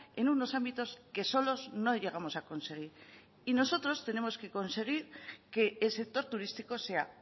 en unos ámbitos que solos no llegamos a conseguir y nosotros tenemos que conseguir que el sector turístico sea